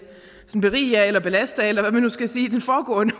berige eller belaste af hvad man nu skal sige den foregående